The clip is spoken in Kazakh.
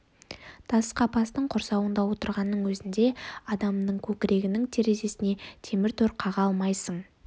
тас қапастың құрсауында отырғанның өзінде адамның көкірегінің терезесіне темір тор қаға алмайсың